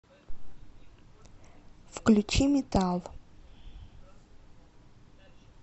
включи метал